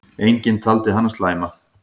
Enginn taldi hana slæma.